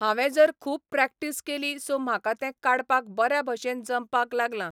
हांवें जर खूब प्रॅक्टीस केली सो म्हाका तें काडपाक बऱ्या भशेन जमपाक लागलां.